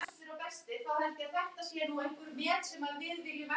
Hún leit til hans um leið og hann skaust framhjá.